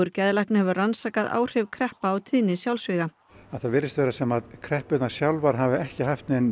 geðlækna hefur rannsakað áhrif kreppa á tíðni sjálfsvíga það virðist vera sem kreppurnar sjálfar hafi ekki haft nein